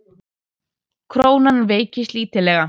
Krónan veiktist lítillega